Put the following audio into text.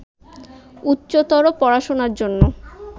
উচ্চতর পড়াশোনার জন্য